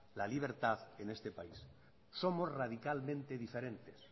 la libertad en este país somos radicalmente diferentes